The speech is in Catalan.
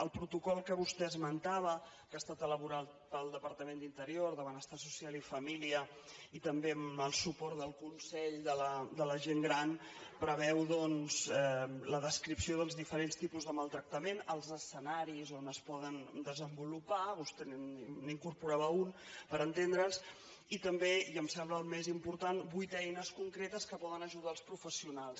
el protocol que vostè esmentava que ha estat elaborat pels departaments d’interior de benestar social i família i també amb el suport del consell de la gent gran preveu doncs la descripció dels diferents tipus de maltractament els escenaris on es poden desenvolupar vostè n’hi incorporava un per entendre’ns i també i em sembla el més important vuit eines concretes que poden ajudar els professionals